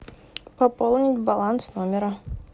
пополнить баланс номера